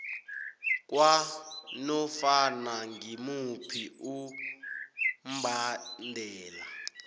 kwanofana ngimuphi umbandela